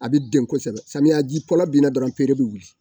A bɛ den kosɛbɛ samiya ji bina dɔrɔn peere bɛ wuli.